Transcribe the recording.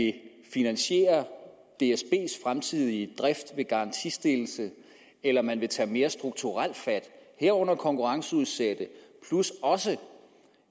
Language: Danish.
finansiere dsbs fremtidige drift ved garantistillelse eller om man vil tage mere strukturelt fat herunder konkurrenceudsætte plus også